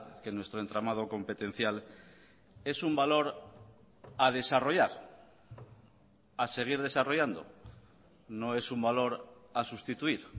que nuestro entramado competencial es un valor a desarrollar a seguir desarrollando no es un valor a sustituir